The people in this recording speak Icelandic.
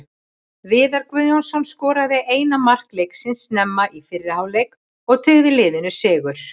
Viðar Guðjónsson skoraði eina mark leiksins snemma í fyrri hálfleik og tryggði liðinu sigur.